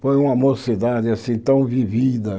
Foi uma mocidade assim tão vivida.